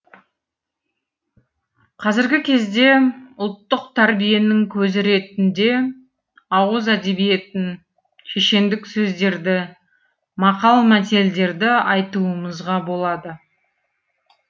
қазіргі кезде ұлттық тәрбиенің көзі ретінде ауыз әдебиетін шешендік сөздерді мақал мәтелдерді айтуымызға болады